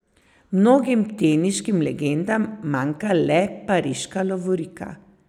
Mnogim teniškim legendam manjka le pariška lovorika.